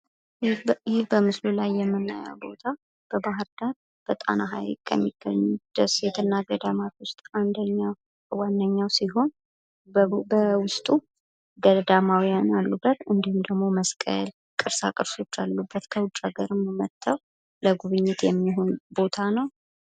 በምስሉ ላይ የምናየው ቦታ በባህርዳር በጣና ሃይቅ ከሚገኙ ደሴትና ገዳማት አንዱና ዋነኛው ሲሆን በውስጡ ገዳማውያን፣ መስቀል፣ ቅርሶች የሚገኙበት እንዲሁም ከውጭ ሃገር እየመጡ ለጉብኝት የሚያገለግል ነው።